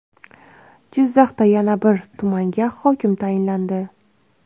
Jizzaxda yana bir tumanga hokim tayinlandi.